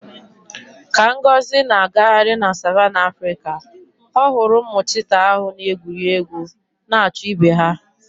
Ka Ngozi na-agagharị na savannah Africa, ọ hụrụ ụmụ cheetah ahụ na-egwuri egwu na-achụ ibe ha.